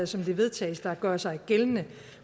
som det vedtages der gør sig gældende